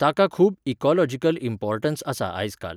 ताका खूब ecological importance आसा आयजकाल.